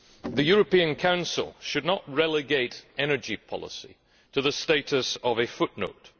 The European Council should not relegate energy policy to the status of a footnote.